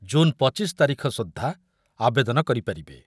ଛାତ୍ରଛାତ୍ରୀ ଜୁନ୍ ପଚିଶି ତାରିଖ ସୁଦ୍ଧା ଆବେଦନ କରିପାରିବେ ।